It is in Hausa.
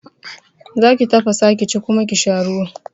Zaki tafasa ki ci kuma ki sha ruwan